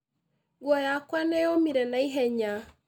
Nguo yakwa nĩnyomire na ihenya